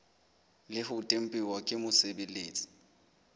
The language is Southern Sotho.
le ho tempuwa ke mosebeletsi